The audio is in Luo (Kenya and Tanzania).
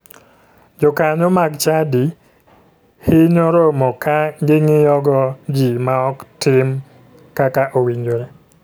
Jokanyo mag chadi hinyo romo ka ging'iyogo ji ma ok tim kaka owinjore.